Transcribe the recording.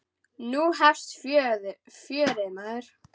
Nú hefst fjörið, maður.